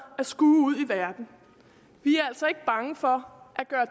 at skue ud i verden vi er altså ikke bange for